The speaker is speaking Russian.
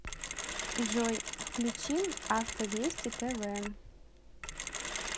джой включи авто вести тэ вэ